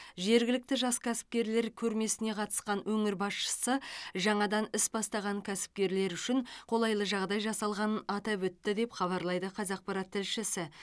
жергілікті жас кәсіпкерлер көрмесіне қатысқан өңір басшысы жаңадан іс бастаған кәсіпкерлер үшін қолайлы жағдай жасалғанын атап өтті деп хабарлайды қазақпарат тілшісі